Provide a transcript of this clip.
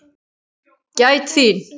Gæt þín.